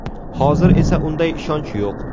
Hozir esa unday ishonch yo‘q.